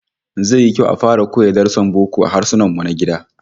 Zai yi kyau a fara koya darussan boko a Harsunanmu na gida